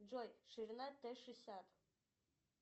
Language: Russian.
джой ширина т шестьдесят